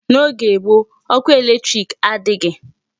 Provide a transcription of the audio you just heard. N'oge gboo ọkụ electric adịghị.